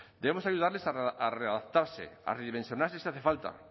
debemos ayudarles a readaptarse a redimensionarse si hace falta